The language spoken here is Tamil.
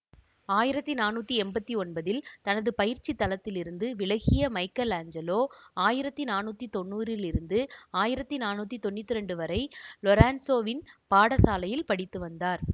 ஆயிரத்தி நானூற்றி எம்பத்தி ஒன்பதில் தனது பயிற்சித் தலத்திலிருந்து விலகிய மைக்கலாஞ்சலோ ஆயிரத்தி நானூற்றி தொன்னூறிலிருந்து ஆயிரத்தி நானூற்றி தொன்னூற்தி இரண்டு வரை லொரென்சோவின் பாடசாலையில் படித்து வந்தார்